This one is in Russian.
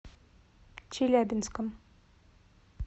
челябинском